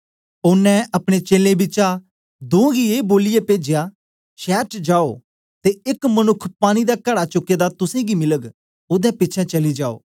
ओनें अपने चेलें बिचा दों गी ए बोलिऐ पेजया शैर च जाओ ते एक मनुक्ख पानी दा कड़ा चुके दा तुसेंगी मिलग ओदे पिछें चली जायो